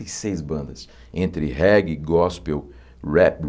e seis bandas, entre reggae, gospel, rap.